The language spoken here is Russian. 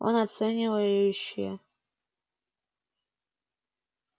он оценивающе